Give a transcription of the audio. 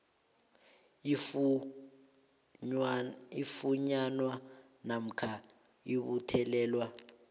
ifunyanwa namkha ibuthelelwa